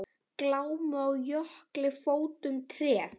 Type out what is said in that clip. Glámu á jökli fótum treð.